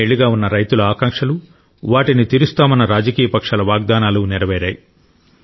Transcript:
కొన్నేళ్లుగా ఉన్న రైతుల ఆకాంక్షలు వాటిని తీరుస్తామన్న రాజకీయ పక్షాల వాగ్దానాలు నెరవేరాయి